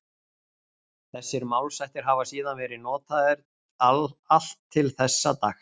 Þessir málshættir hafa síðan verið notaðir allt til þessa dags.